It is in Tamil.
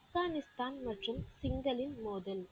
ஆப்கானிஸ்தான் மற்றும் மோதல்